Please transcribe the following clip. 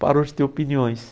Parou de ter opiniões.